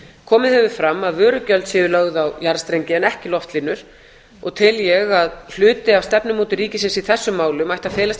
komið hefur fram að vörugjöld séu lögð á jarðstrengi en ekki loftlínur og tel ég að hluti af stefnumótun ríkisins í þessum málum ætti að felast í